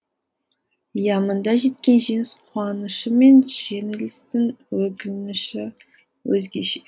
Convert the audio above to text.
иә мұнда жеткен жеңіс қуанышы мен жеңілістің өкініші өзгеше